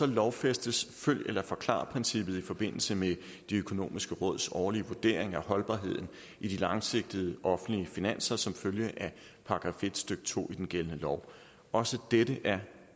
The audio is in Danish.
lovfæstes følg eller forklar princippet i forbindelse med det økonomiske råds årlige vurdering af holdbarheden i de langsigtede offentlige finanser som følge af § en stykke to i den gældende lov også dette er